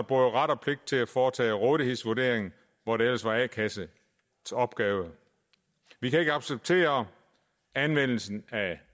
ret og pligt til at foretage rådighedsvurderingen hvor det ellers var a kassens opgave vi kan ikke acceptere anvendelsen af